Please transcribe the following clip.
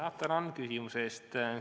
Tänan küsimuse eest!